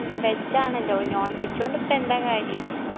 veg ആണല്ലോ non veg കൊണ്ടിപ്പോ എന്താ കാര്യം